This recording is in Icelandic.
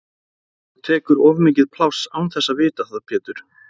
Þú tekur of mikið pláss án þess að vita það Pétur!